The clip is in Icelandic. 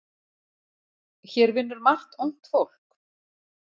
Hér vinnur margt ungt fólk.